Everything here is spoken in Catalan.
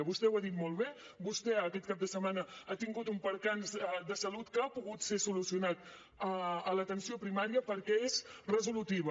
vostè ho ha dit molt bé vostè aquest cap de setmana ha tingut un percaç de salut que ha pogut ser solucionat a l’atenció primària perquè és resolutiva